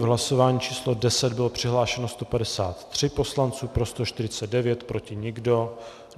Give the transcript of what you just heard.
V hlasování číslo 10 bylo přihlášeno 153 poslanců, pro 149, proti nikdo.